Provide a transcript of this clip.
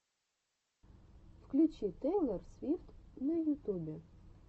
включи тейлор свифт на ютубе